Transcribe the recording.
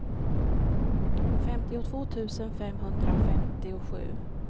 femtiotvå tusen femhundrafemtiosju